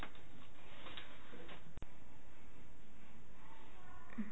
ਹਮ